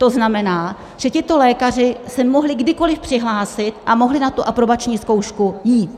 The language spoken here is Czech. To znamená, že tito lékaři se mohli kdykoli přihlásit a mohli na tu aprobační zkoušku jít.